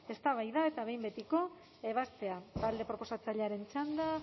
eztabaida eta behin betiko ebazpena talde proposatzailearen txanda